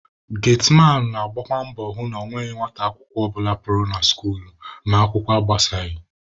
Getiman na-agbakwa mbọ hụ na ọ nweghị nwata akwụkwọ ọbụla pụrụ na skuul ma akwụkwọ agbasaghị